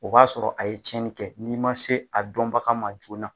O b'a sɔrɔ a ye cɛni kɛ n'i ma se a dɔnbaga ma joona